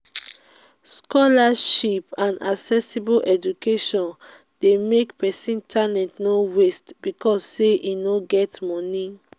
scholarships and accessible education de make make persin talent no waste because say e no get moni